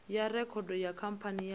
ya rekhodo kha khamphani ya